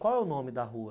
Qual é o nome da rua?